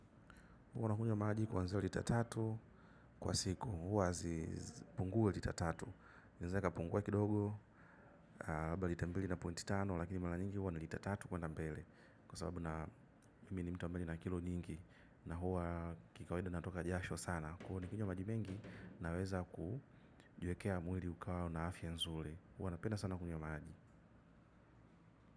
Huwa nakunywa maji kuanzia lita tatu kwa siku. Huwa hazipungui lita tatu. Inaeza ikapungua kidogo. Labda lita mbili na pointi tano. Lakini mara nyingi huwa ni lita tatu kuenda mbele. Kwa sababu na mimi ni mtu ambaye njna kilo nyingi. Na huwa kikawaida natoka jasho sana. Kwa hiyo nikinywa maji mengi naweza kujiwekea mwili ukawa una afya nzuri. Huwa napenda sana kunywa mamaji.